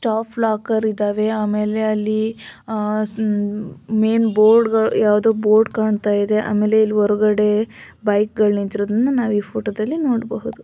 Staff locker ಇದವೆ ಆಮೇಲೆ ಅಲ್ಲಿ ಅ-- ಮ್ಆ -- ಮೇನ್ ಬೋರ್ಡ ಗಳ್ ಯಾವ್ದೋ ಬೋರ್ಡ್ ಕಾಣ್ತಾ ಇದೆ ಆಮೇಲೆ ಇಲ್ಲಿ ಹೊರಗಡೆ ಬೈಕ ಗಳ್ ನಿಂತಿರೋದನ್ನ ನಾವ್ ಈ ಫೋಟೋ ದಲ್ಲಿ ನೋಡಬಹುದು.